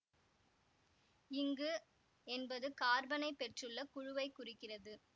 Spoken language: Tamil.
இங்கு என்பது கார்பனைப் பெற்றுள்ள குழுவைக் குறிக்கிறது